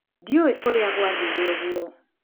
Ndiũĩ ũrĩa gwathire ũguo.